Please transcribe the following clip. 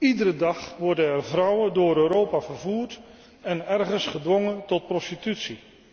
Iedere dag worden er vrouwen door Europa vervoerd en ergens gedwongen tot prostitutie.